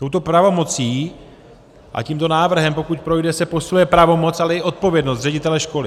Touto pravomocí a tímto návrhem, pokud projde, se posiluje pravomoc, ale i odpovědnost ředitele školy.